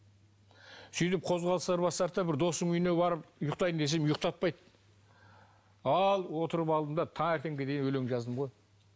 сөйтіп қозғалыстар басталды да бір досымның үйіне барып ұйықтайын десем ұйықтатпайды ал отырып алдым да таңертеңге дейін өлең жаздым ғой